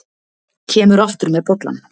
Kemur aftur með bollann.